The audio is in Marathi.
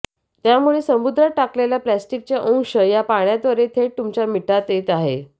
त्यामुळे समुद्रात टाकलेल्या प्लॅस्टिकचे अंश या पाण्याद्वारे थेट तुमच्या मिठात येत आहेत